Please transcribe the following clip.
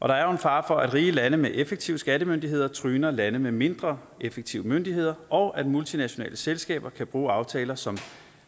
der er jo en fare for at rige lande med effektive skattemyndigheder tryner lande med mindre effektive myndigheder og at multinationale selskaber kan bruge aftaler som